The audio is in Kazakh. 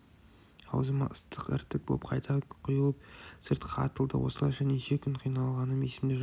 аузыма ыстық іртік боп қайта құйылып сыртқа атылды осылайша неше күн қиналғаным есімде жоқ